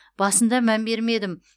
басында мән бермедім